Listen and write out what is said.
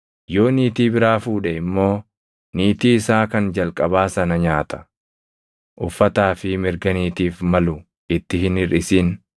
Yoo niitii biraa fuudhe immoo niitii isaa kan jalqabaa sana nyaata, uffataa fi mirga niitiif malu itti hin hirʼisin.